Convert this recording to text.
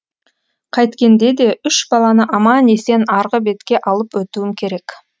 қайткенде де үш баланы аман есен арғы бетке алып өтуім керек